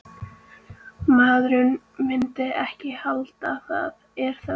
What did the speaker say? Maður myndi ekki halda það, er það?